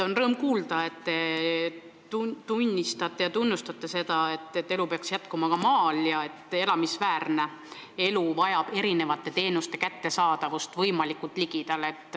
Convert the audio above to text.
On rõõm kuulda, et te tunnistate ja tunnustate seisukohta, et elu peaks jätkuma ka maal ja et elamisväärne elu eeldab erinevate teenuste kättesaadavust võimalikult ligidal.